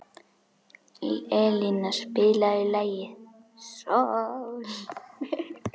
Elina, spilaðu lagið „Sól“.